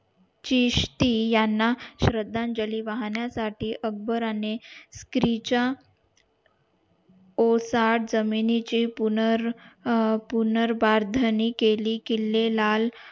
शिष्टी याना श्रद्धांजली वाहण्या साठी अकबराने क्रीचा ओसाड जमिनीचे पुर्नर अं पुर्नरबर्धनी केली किल्ले लाल